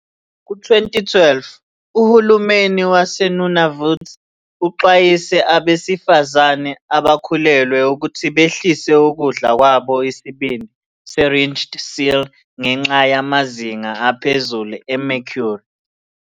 Ku-2012, uHulumeni waseNunavut uxwayise abesifazane abakhulelwe ukuthi behlise ukudla kwabo isibindi se-ringed seal ngenxa yamazinga aphezulu e- mercury.